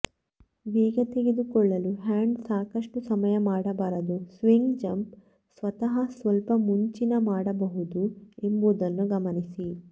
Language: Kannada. ವೇಗ ತೆಗೆದುಕೊಳ್ಳಲು ಹ್ಯಾಂಡ್ ಸಾಕಷ್ಟು ಸಮಯ ಮಾಡಬಾರದು ಸ್ವಿಂಗ್ ಜಂಪ್ ಸ್ವತಃ ಸ್ವಲ್ಪ ಮುಂಚಿನ ಮಾಡಬಹುದು ಎಂಬುದನ್ನು ಗಮನಿಸಿ